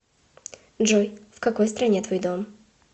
джой в какой стране твой дом